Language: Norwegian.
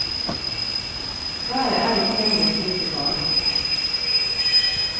Været er ikke lenger slik det var.